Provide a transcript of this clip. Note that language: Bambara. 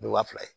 Wa fila ye